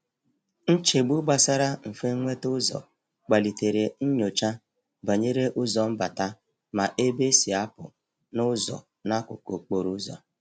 Nchegbu gbasara mfe nweta ụzọ kpalitere nnyocha banyere ụzọ mbata ma ebe e si a pụ na ụzọ n'akụkụ okporo ụzọ.